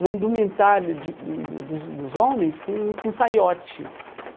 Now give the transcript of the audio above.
um indumentário de dos dos dos homens com com saiote.